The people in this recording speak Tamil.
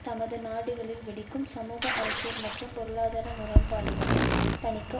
தமது நாடுகளில் வெடிக்கும் சமூக அரசியல் மற்றும் பொருளாதார முரண்பாடுகளை தணிக்க